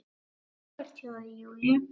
Frábært hjá þér, Júlía!